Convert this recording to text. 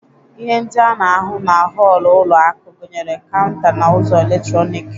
Ihe ndị a na-ahụ na họlụ ụlo akụ gunyere kaụnta na ụzọ eletroniki.